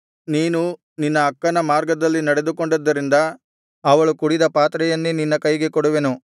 ನೀನು ನಿನ್ನ ಅಕ್ಕನ ಮಾರ್ಗದಲ್ಲಿ ನಡೆದುಕೊಂಡಿದ್ದರಿಂದ ಅವಳು ಕುಡಿದ ಪಾತ್ರೆಯನ್ನೇ ನಿನ್ನ ಕೈಗೆ ಕೊಡುವೆನು